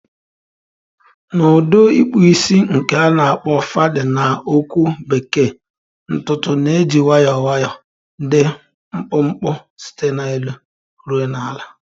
Na udi ikpu isi nke na akpo fadi na okwu bekee, ntutu na-eji nwayọọ nwayọọ dị mkpụmkpụ site n'elu ruo na ala.